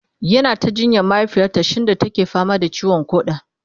yana ta jinyar mahaifiyarta shinda take fama da ciwon koda